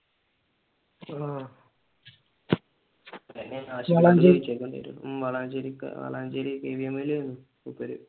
ആഹ് ഉം വളാഞ്ചേരി വളാഞ്ചേരി KVM ഇൽ ആരുന്നു മൂപ്പർ